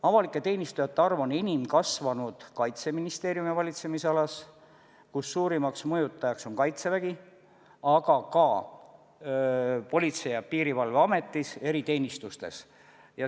Avalike teenistujate arv on enim kasvanud Kaitseministeeriumi valitsemisalas, kus suurimaks mõjutajaks on Kaitsevägi, aga ka Politsei- ja Piirivalveameti eriteenistused.